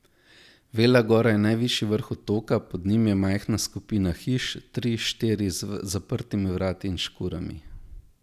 Vela gora je najvišji vrh otoka, pod njim je majhna skupina hiš, tri, štiri, z zaprtimi vrati in škurami.